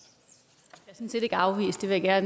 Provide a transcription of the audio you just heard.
her